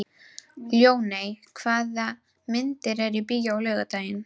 Ljóney, hvaða myndir eru í bíó á laugardaginn?